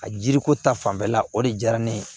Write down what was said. A jiriko ta fanfɛla o de diyara ne ye